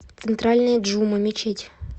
центральная джума мечеть